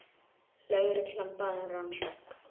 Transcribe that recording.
Lögreglan bað um rannsókn